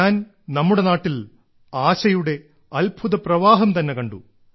ഞാൻ നമ്മുടെ നാട്ടിൽ ആശയുടെ അത്ഭുതപ്രവാഹം തന്നെ കണ്ടു